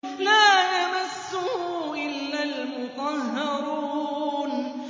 لَّا يَمَسُّهُ إِلَّا الْمُطَهَّرُونَ